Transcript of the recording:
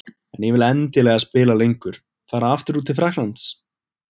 En ég vil endilega spila lengur. Fara aftur til Frakklands?